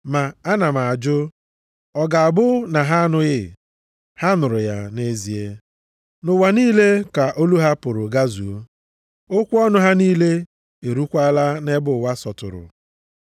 Ma ana m ajụ, Ọ ga-abụ na ha anụghị? Ha nụrụ ya nʼezie. “Nʼụwa niile ka olu ha pụrụ gazuo, okwu ọnụ ha niile erukwaala nʼebe ụwa sọtụrụ.” + 10:18 \+xt Abụ 19:4\+xt*